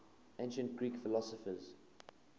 ancient greek philosophers